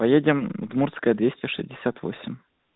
поедем удмуртская двести шестьдесят восемь